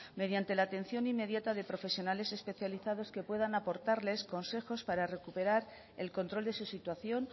mediante la atención inmediata de profesionales especializados que puedan aportarles consejos para recuperar el control de su situación